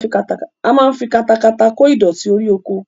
A máa ń fi katakata kó ìdọ̀tí orí oko